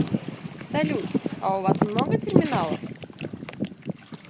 салют а у вас много терминалов